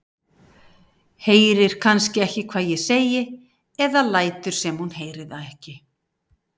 Heyrir kannski ekki hvað ég segi eða lætur sem hún heyri það ekki.